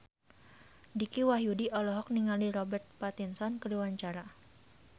Dicky Wahyudi olohok ningali Robert Pattinson keur diwawancara